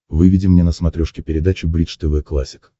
выведи мне на смотрешке передачу бридж тв классик